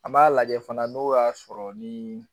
An m'a lajɛ fana n'o y'a sɔrɔ ni